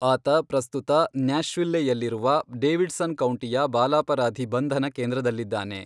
ಆತ ಪ್ರಸ್ತುತ ನ್ಯಾಶ್ವಿಲ್ಲೆಯಲ್ಲಿರುವ ಡೇವಿಡ್ಸನ್ ಕೌಂಟಿಯ ಬಾಲಾಪರಾಧಿ ಬಂಧನ ಕೇಂದ್ರದಲ್ಲಿದ್ದಾನೆ.